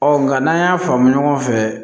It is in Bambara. nka n'an y'a faamu ɲɔgɔn fɛ